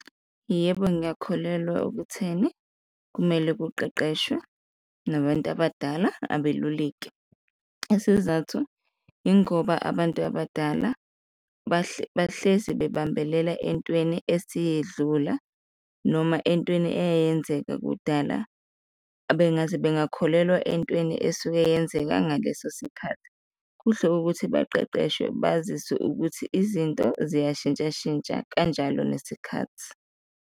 Yebo, ngiyakholelwa okutheni kumele kuqeqeshwe nabantu abadala abeluleki. Isizathu ingoba abantu abadala bahlezi bambelela entweni esiyedlula noma entweni eyayenzeka kudala, bengakholelwa entweni esuke yenzeka ngaleso sikhathi, kuhle ukuthi baqeqeshwe baziswe ukuthi izinto ziyashintsha shintsha kanjalo nesikhathi.